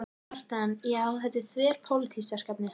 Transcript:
Kjartan: Já, þetta er þverpólitískt verkefni?